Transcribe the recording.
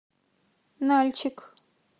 нальчик